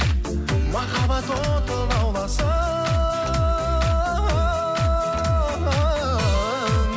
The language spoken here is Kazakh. махаббат оты лауласын